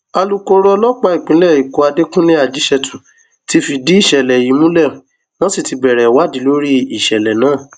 alūkkóró ọlọpàá ìpínlẹ èkó àdẹkùnlé ajíṣẹtù ti fìdí ìṣẹlẹ yìí múlẹ wọn sì ti bẹrẹ ìwádìí lórí ìṣẹlẹ náà